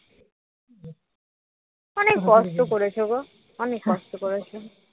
অনেক কষ্ট করেছো গো অনেক কষ্ট করেছো ।